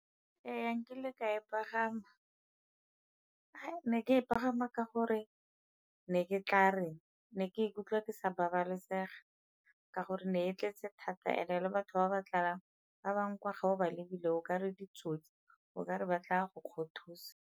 Ee, nkile ka e pagama. Hai! Ne ke e pagama ka gore ne ke tla reng, ne ke ikutlwa ke sa babalesega ka gore ne e tletse thata and-e le batho ba ba tlalang ba bangwe ga o ba lebile o ka re ditsotsi o ka re ba tla go kgothosa.